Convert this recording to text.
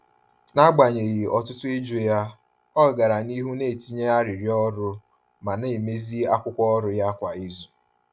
N’agbanyeghị ọtụtụ ịjụ ya, ọ gara n’ihu na-etinye arịrịọ ọrụ ma na-emezi akwụkwọ ọrụ ya kwa izu.